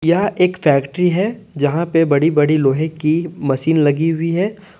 यह एक फैक्ट्री है जहां पे बड़ी बड़ी लोहे की मशीन लगी हुई है।